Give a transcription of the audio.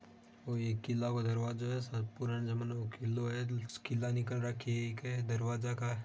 ओ एक किल्ला का दरवाजो है सायद पुराना जमाने का किल्ला है किल्ला निकल रखी है दरवाजे क।